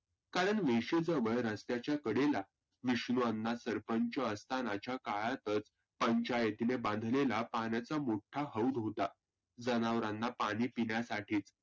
कारण वेशेचं वळणचं त्याच्या कडेला विष्णुअण्णा सरपंच असतानाच्या काळातचं पंचायतीने बांधलेला पाण्याचा मोठा हौद होता. जनावरांना पाणि पिण्यासाठीच.